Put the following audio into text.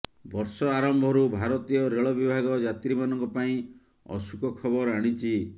ବର୍ଷ ଆରମ୍ଭରୁ ଭାରତୀୟ ରେଳ ବିଭାଗ ଯାତ୍ରୀମାନଙ୍କ ପାଇଁ ଅସୁଖ ଖବର ଆଣିଛି